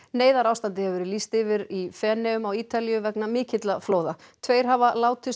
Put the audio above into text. neyðarástandi hefur verið lýst yfir í Feneyjum á Ítalíu vegna mikilla flóða tveir hafa látist